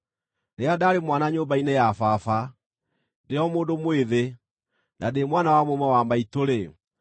Rĩrĩa ndaarĩ mwana nyũmba-inĩ ya baba, ndĩ o mũndũ mwĩthĩ, na ndĩ mwana wa mũmwe wa maitũ-rĩ,